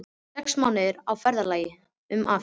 Sex mánuðir á ferðalagi um Afríku!